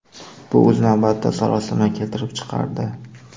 Bu, o‘z navbatida, sarosima keltirib chiqardi.